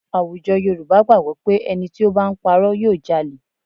À̀wùjọ Yorùbá gbàgbọ́ pé ẹni tí ó bá ń purọ́ yóò jalẹ̀